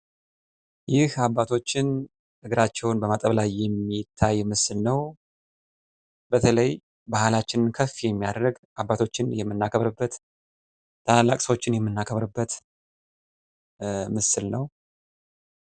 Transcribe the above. ይህ አባቶችን እግሮቻቸውን በማጠብ ላይ የሚያሳይ ምስል ሲሆን አባቶችን እና ታላላቅ ሰዎችን የምናከብርበት ባህል ነው።